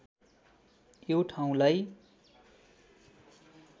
यो ठाउँलाई